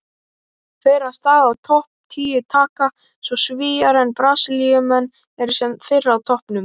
Þeirra stað á topp tíu taka svo Svíar en Brasilíumenn eru sem fyrr á toppnum.